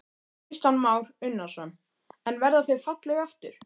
Kristján Már Unnarsson: En verða þau falleg aftur?